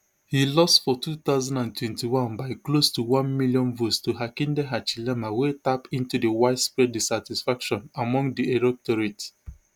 e lost for two thousand and twenty-one by close to one million votes to hakainde hichilema wey tap into di widespread dissatisfaction among di electorate